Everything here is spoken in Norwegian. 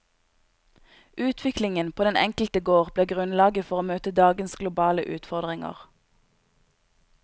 Utviklingen på den enkelte gård blir grunnlaget for å møte dagens globale utfordringer.